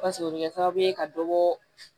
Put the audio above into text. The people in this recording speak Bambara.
Paseke o bɛ kɛ sababu ye ka dɔ bɔ